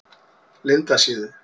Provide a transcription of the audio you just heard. Lindasíðu